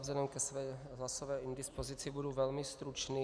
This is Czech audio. Vzhledem ke své hlasové indispozici budu velmi stručný.